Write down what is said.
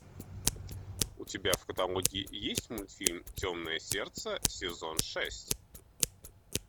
у тебя в каталоге есть мультфильм темное сердце сезон шесть